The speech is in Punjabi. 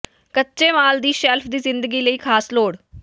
ਕੱਚੇ ਮਾਲ ਦੀ ਸ਼ੈਲਫ ਦੀ ਜ਼ਿੰਦਗੀ ਲਈ ਖਾਸ ਲੋੜ